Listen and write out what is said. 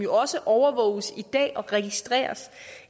også overvåges og registreres